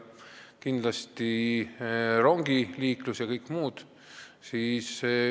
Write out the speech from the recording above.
Kindlasti ei tohiks unustada rongiliiklust ja kõike muud.